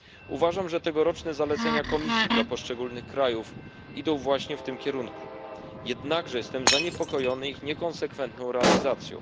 Uważam, że tegoroczne zalecenia Komisji dla poszczególnych krajów idą właśnie w tym kierunku, jednakże jestem zaniepokojony ich niekonsekwentną realizacją.